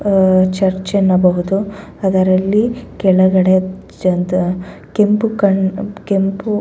ಆ ಚರ್ಚ್ ನ್ನು ಬಗೆದು ಅದರಲ್ಲಿ ಕೆಳಗಡೆ ಕೆಂಪು ಕಣ್ ಕೆಂಪು --